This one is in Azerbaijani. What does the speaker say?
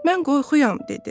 Mən qorxuyam, dedi.